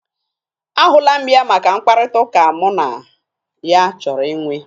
A hụla mụ ya maka mkpakọrịtaụka mụ na ya chọrọ ị nwe.